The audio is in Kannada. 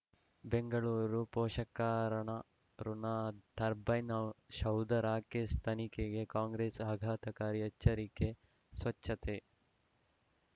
ಬೆಂಗಳೂರು ಪೋಷಕರಣ ಋಣ ಟರ್ಬೈನು ಸೌಧ ರಾಕೇಶ್ ತನಿಖೆಗೆ ಕಾಂಗ್ರೆಸ್ ಆಘಾತಕಾರಿ ಎಚ್ಚರಿಕೆ ಸ್ವಚ್ಛತೆ